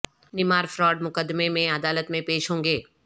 Neymar fraud مقدمے میں عدالت میں پیش ہوں گے